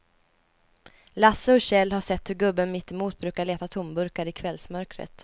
Lasse och Kjell har sett hur gubben mittemot brukar leta tomburkar i kvällsmörkret.